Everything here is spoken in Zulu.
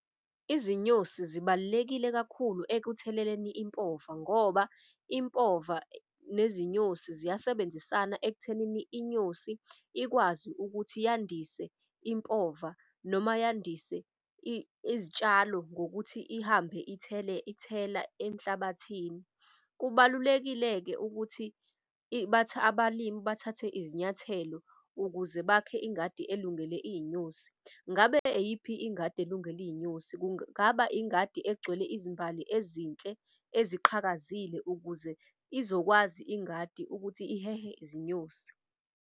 Izinyosi zibalulekile kakhulu ekutheleleni impova ngoba impova nezinyosi ziyasebenzisana ekuthenini inyosi ikwazi ukuthi yandise impova noma yandise izitshalo ngokuthi ihambe ithela emhlabathini. Kubalulekile-ke ukuthi abalimi bathathe izinyathelo ukuze bakhe ingadi elungele iy'nyosi. Ngabe eyiphi ingadi elungele iy'nyosi? Kungaba ingadi egcwele izimbali ezinhle eziqhakazile ukuze izokwazi ingadi ukuthi ihehe izinyosi.